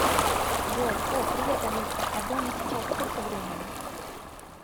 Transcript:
джой о привет алиса а дома сейчас сколько времени